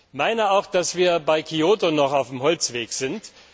Ich meine auch, dass wir bei Kyoto noch auf dem Holzweg sind.